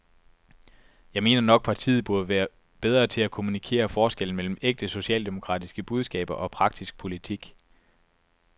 Jeg mener nok, partiet burde være bedre til at kommunikere forskellen mellem ægte socialdemokratiske budskaber og praktisk politik.